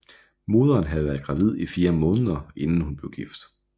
Moderen havde været gravid i 4 måneder inden hun blev gift